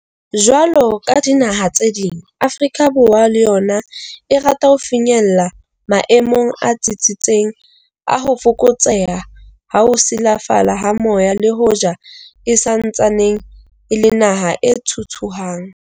Jwalo ka dinaha tse ding, Afrika Borwa le yona e rata ho finyella maemong a tsitsitseng a ho fokotseha ha ho silafala ha moya le hoja e sa ntsaneng e le naha e thuthuhang.